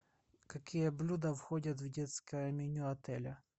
какие блюда входят в детское меню отеля